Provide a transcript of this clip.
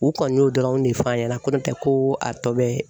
U kɔni y'o dɔrɔnw de fɔ an ɲɛna ko n'o tɛ ko a tɔ bɛ